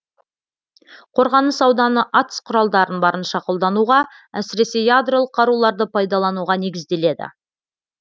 қорғаныс ауданы атыс құралдарын барынша қолдануға әсіресе ядролық қаруларды пайдалануға негізделеді